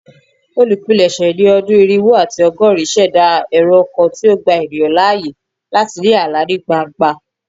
Olupilẹṣẹ ni ọdun irinwo ati ọgọrin ṣẹda ẹrọ kan ti o gba eniyan laaye lati ni ala ni gbangba